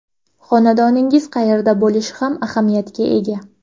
Xonadoningiz qayerda bo‘lishi ham ahamiyatga ega.